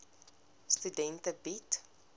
studente bied